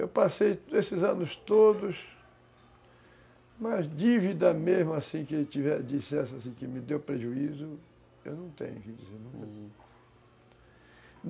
Eu passei esses anos todos, mas dívida mesmo, assim, que me deu prejuízo, eu não tenho, uhum.